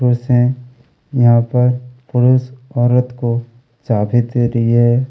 पुरुष है यहाँ पर पुरूष औरत को चाबी दे री हैं।